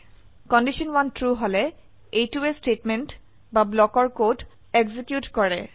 condition 1 true হলে এইটোৱে statement বা ব্লকৰ কদ এক্সিকিউট কৰে